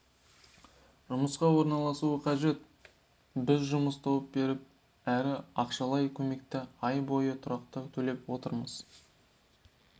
жұмысқа орналасуы қажет біз жұмыс тауып беріп әрі ақшалай көмекті ай бойы тұрақты төлеп отырамыз